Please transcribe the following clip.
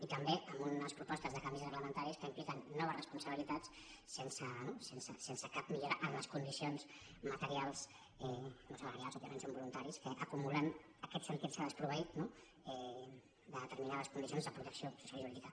i també amb unes propostes de canvis reglamentaris que impliquen noves responsabilitats no sense cap millora en les condicions materials no salarials òbviament són voluntaris que acumulen aquest sentir se desproveït de determinades condicions de protecció jurídica